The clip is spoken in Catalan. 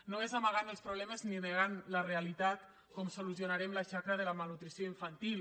no és amagant els problemes ni negant la realitat com solucionarem la xacra de la malnutrició infantil